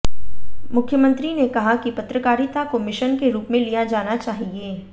मुख्यमंत्री ने कहा कि पत्रकारिता को मिशन के रूप में लिया जाना चाहिए